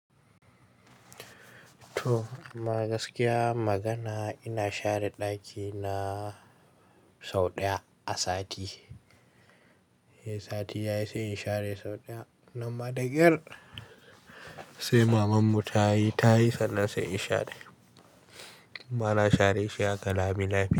To amma gaskiya magana ina share ɗaki na sau ɗaya a sati. Sai sati ya yi sai in share sau ɗaya. Nan ma da ƙyar sai mamanmu ta yi, ta yi sannan sai in share. Ba na share shi haka lami lafiya.